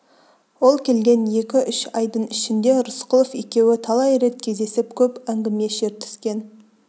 ол келген екі-үш айдың ішінде рысқұлов екеуі талай рет кездесіп көп әңгіме шертіскен